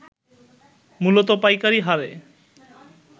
মূলত পাইকারি হারে